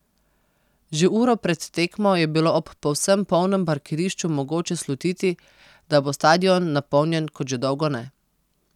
Že uro pred tekmo je bilo ob povsem polnem parkirišču mogoče slutiti, da bo stadion napolnjen kot že dolgo ne.